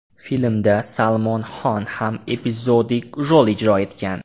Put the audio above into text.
Filmda Salmon Xon ham epizodik rol ijro etgan.